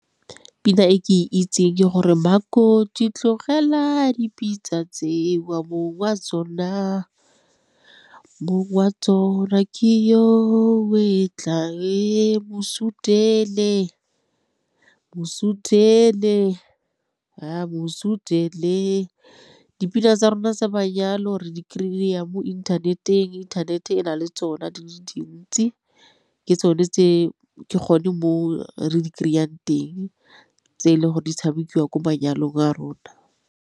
Pina e ke itseng ke gore, Makoti tlogela dipitsa tseo mong wa tsona, mong wa tsona ke yo o etla, e mo sutele, mo sutele, a mo sutele. Dipina tsa rona tsa mayalo re di kry-a mo inthaneteng inthanete e na le tsona di le dintsi ke tsone tse ke gone mo re di kry-ang teng tse e le gore di tshamekiwa ko manyalong a rona.